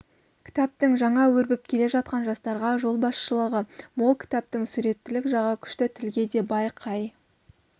кітаптың жаңа өрбіп келе жатқан жастарға жолбасшылығы мол кітаптың суреттілік жағы күшті тілге де бай қай